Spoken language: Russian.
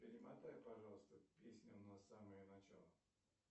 перемотай пожалуйста песню на самое начало